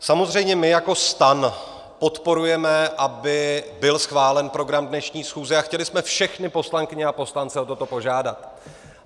Samozřejmě my jako STAN podporujeme, aby byl schválen program dnešní schůze, a chtěli jsme všechny poslankyně a poslance o toto požádat.